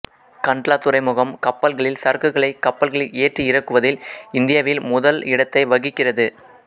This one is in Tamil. கண்ட்லா துறைமுகம் கப்பல்களில் சரக்குகளை கப்பல்களில் ஏற்றி இறக்குவதில் இந்தியாவில் முதல் இடத்தை வகிக்கிறது